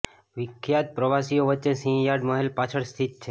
વિખ્યાત પ્રવાસીઓ વચ્ચે સિંહ યાર્ડ મહેલ પાછળ સ્થિત છે